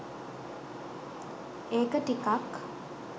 ඒක ටිකක්